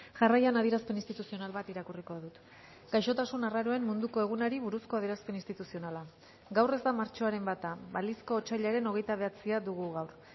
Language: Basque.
jarraian adierazpen instituzional bat irakurriko dut gaixotasun arraroen munduko egunari buruzko adierazpen instituzionala gaur ez da martxoaren bata balizko otsailaren hogeita bederatzia dugu gaur